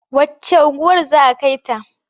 Wacce unguwar za a kai ta?